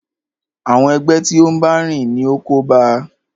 Àwọn ẹgbẹ́ tí o n bá rìn ní o kóba a.